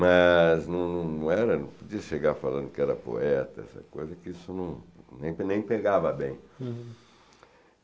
Mas não era... Não podia chegar falando que era poeta, essa coisa, que isso não nem pe nem pegava bem.